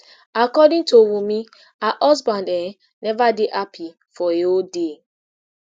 according to wunmi her husband um neva dey happi for a whole day